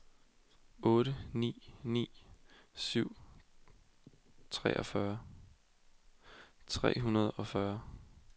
otte ni ni syv treogfyrre tre hundrede og fyrre